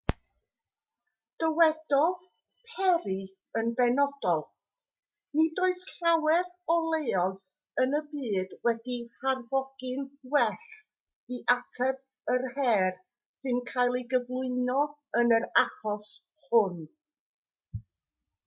dywedodd perry yn benodol nid oes llawer o leoedd yn y byd wedi'u harfogi'n well i ateb yr her sy'n cael ei gyflwyno yn yr achos hwn